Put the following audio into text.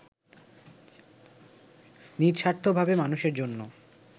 নিঃস্বার্থভাবে মানুষের জন্য